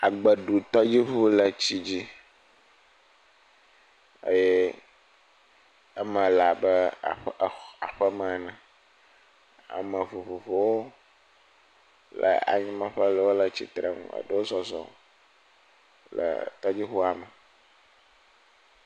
Agbeɖutɔ yevu le etsi dzi eye eme le abe aƒe aƒe me ene. Ame vovovowo le anyi nɔƒe aɖewo le tsitre nu. Wo zɔzɔm le tɔdziʋua me.